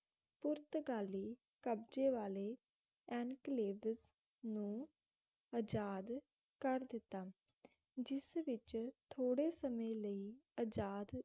ਪੁਰਤਕਾਲੀ ਕਬਜੇ ਵਾਲੇ ਇਨਕਲੇਵ ਨੂੰ ਅਜਾਦ ਕਰ ਦਿੱਤਾ ਜਿਸ ਵਿਚ ਥੋੜੇ ਸਮੇ ਲਈ ਅਜਾਦ